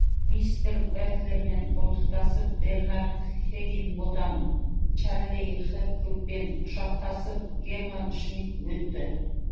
мистер бэтлермен қолтықтасып бернард хиггинботам чарли хэпгудпен құшақтасып герман шмидт өтті